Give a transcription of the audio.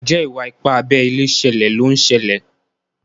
Njé Iwa-ipa abé ilé ṣẹlẹ ló ń ṣẹlẹ?